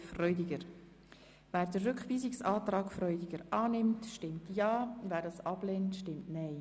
Wer diesen Rückweisungsantrag annimmt, stimmt Ja, wer diesen ablehnt, stimmt Nein.